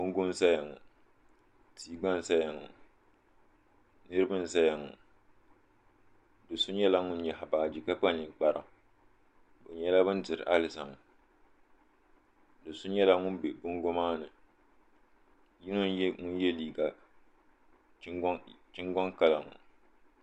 Bongo zaya ŋɔ tia gba n zaya ŋɔ niriba n zaya ŋɔ doso nyɛla ŋun nyaɣi baaji ka kpa ninkpara bɛ nyɛla ban diri alizama do'so nyɛla ŋun be bongo maani n nyɛ ŋun ye liiga chingoŋ kala ŋɔ.